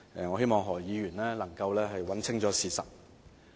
我希望何議員能夠查清事實。